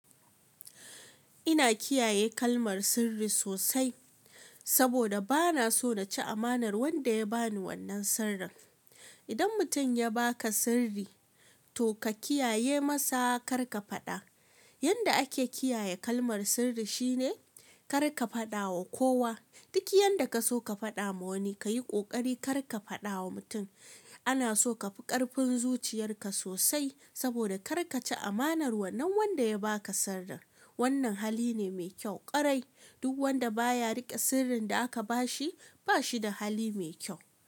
Ina kiyaye kalmar sirri sosai saboda bana so na ci amanar wanda ya ba ni wannan sirrin. Idan mutum ya ba ka sirri, to ka kiyaye masa kar ka faɗa. Yanda ake kiyaye kalmar sirri shine kar ka faɗa wa kowa. Duk yanda ka so ka faɗa wa wani, ka yi ƙoƙari kar ka faɗa wa mutum. Ana so ka fi ƙarfin zuciyarka sosai saboda kar ka ci amanar wannan wanda ya ba ka sirrin. Wannan hali ne mai kyau ƙwarai. Duk wanda baya riƙe sirrin da aka ba shi, ba shi da hali mai kyau.